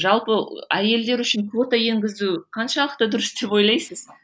жалпа әйелдер үшін квота енгізу қаншалықты дұрыс деп ойлайсыз